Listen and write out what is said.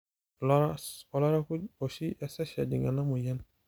ilaras, olairakuj oshi esesh ejing ena moyian